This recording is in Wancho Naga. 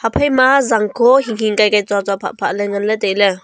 phaima jangkho hinghing kaikai chocho phapha le ngan ley tailey.